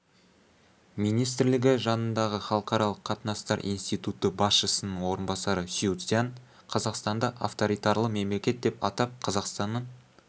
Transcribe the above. министрлігі жанындағы халықаралық қатынастар институты басшысының орынбасары сю цзянь қазақстанды авторитарлы мемлекет деп атап қазақстанның